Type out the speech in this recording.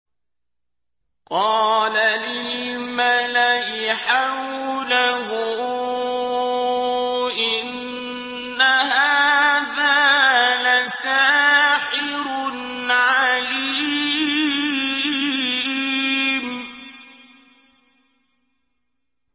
قَالَ لِلْمَلَإِ حَوْلَهُ إِنَّ هَٰذَا لَسَاحِرٌ عَلِيمٌ